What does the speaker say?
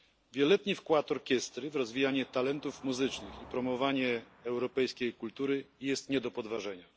Wieloletni wkład orkiestry w rozwijanie talentów muzycznych i promowanie europejskiej kultury jest nie do podważenia.